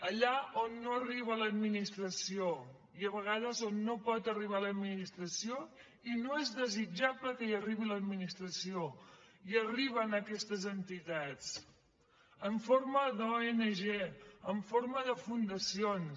allà on no arriba l’administració i a vegades on no pot arribar l’administració i no és desitjable que hi arribi l’administració hi arriben aquestes entitats en forma d’ong en forma de fundacions